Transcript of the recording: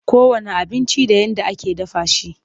Kowanne abinci da yadda ake dafa shi.